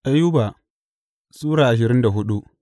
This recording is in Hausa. Ayuba Sura ashirin da hudu